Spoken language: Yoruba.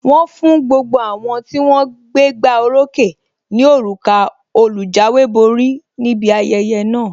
Wọn fún gbogbo àwọn tí wón gbégbá oró ókè ní òrùka olùjáwéborí níbi ayẹyẹ náà.